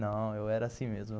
Não, eu era assim mesmo.